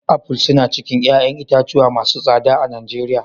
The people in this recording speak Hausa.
Aful suna cikin 'ƴa'ƴan itatuwa masu tsada a Nijeriya.